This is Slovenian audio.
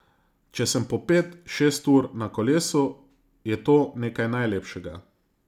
Če sem po pet, šest ur na kolesu, je to nekaj najlepšega.